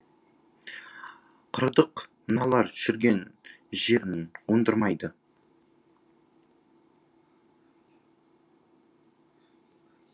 құрыдық мыналар жүрген жерін оңдырмайды